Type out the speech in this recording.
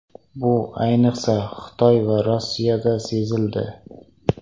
Bu, ayniqsa, Xitoy va Rossiyada sezildi.